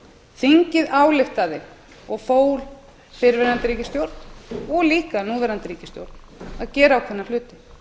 þingið ályktaði og fól fyrrverandi ríkisstjórn og líka núverandi ríkisstjórn að gera ákveðna hluti